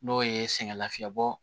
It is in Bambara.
N'o ye sɛgɛn lafiɲɛbɔ